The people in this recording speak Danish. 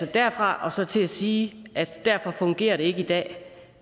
derfra og så til at sige at derfor fungerer det ikke i dag